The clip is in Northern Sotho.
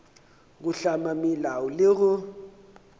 go hlama melao le go